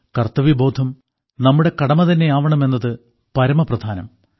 കർത്തവ്യബോധം നമ്മുടെ കടമ തന്നെയാവണമെന്നതു പരമപ്രധാനം